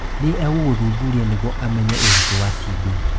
Nĩ egũgũthuthuria nĩguo amenye ũritũ wa TB